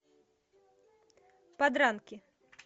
подранки